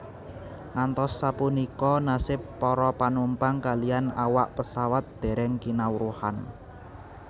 Ngantos sapunika nasib para panumpang kaliyan awak pesawat dèrèng kinawruhan